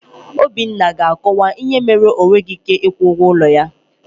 Obinna ga-akọwa ihe mere na o nweghị ị́ké ịkwụ ụgwọ ụlọ ya.